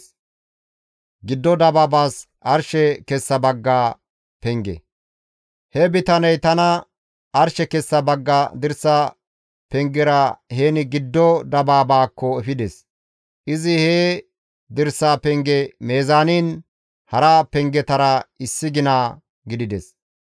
He bitaney tana arshe kessa bagga dirsa pengera heni giddo dabaabaakko efides. Izi he dirsa penge meezaaniin hara pengetara issi gina gidides.